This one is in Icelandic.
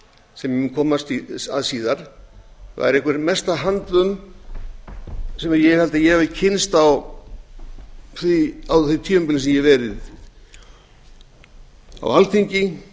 sem ég mun koma að eða væri einhver mesta handvömm sem ég hef kynnst á því tímabili sem ég hef verið á alþingi